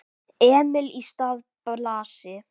Emil í stað Blasi?